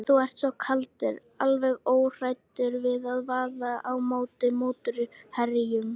Þú ert svo kaldur, alveg óhræddur við að vaða á móti mótherjunum.